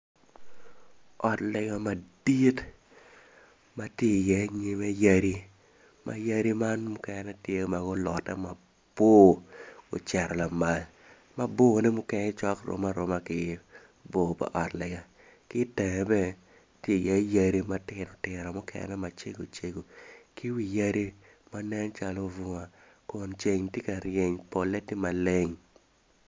Ot lega madit ma tye iye nyimme yadi yadi mukene tye ma gulot mabor ocito lamal ma borne rom ki ot lega ki i teng tye yadi matino tino ma nen calo bunga ceng tye ka ryeny.